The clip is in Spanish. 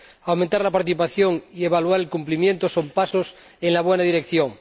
aumentar la participación y evaluar el cumplimiento son pasos en la buena dirección.